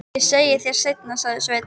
Ég segi þér það seinna, sagði Sveinn.